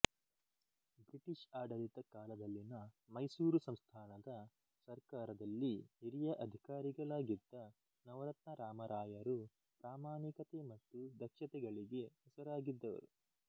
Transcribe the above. British ಆಡಳಿತ ಕಾಲದಲ್ಲಿನ ಮೈಸೂರು ಸಂಸ್ಥಾನದ ಸರ್ಕಾರದಲ್ಲಿ ಹಿರಿಯ ಅಧಿಕಾರಿಗಳಾಗಿದ್ದ ನವರತ್ನ ರಾಮರಾಯರು ಪ್ರಾಮಾಣಿಕತೆ ಮತ್ತು ದಕ್ಷತೆಗಳಿಗೆ ಹೆಸರಾಗಿದ್ದವರು